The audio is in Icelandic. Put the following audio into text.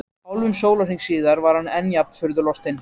Hálfum sólarhring síðar var hann enn jafn furðu lostinn.